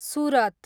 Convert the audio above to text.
Surat